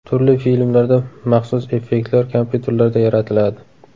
Turli filmlarda maxsus effektlar kompyuterlarda yaratiladi.